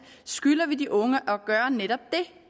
skylder vi de unge at gøre netop det